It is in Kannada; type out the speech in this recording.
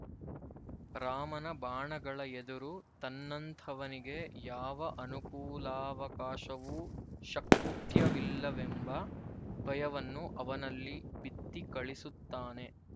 ರಾಮನ ಬಾಣಗಳ ಎದುರು ತನ್ನಂಥವನಿಗೆ ಯಾವ ಅನುಕೂಲಾವಕಾಶವೂ ಶಕ್ಯವಿಲ್ಲವೆಂಬ ಭಯವನ್ನು ಅವನಲ್ಲಿ ಬಿತ್ತಿ ಕಳಿಸುತ್ತಾನೆ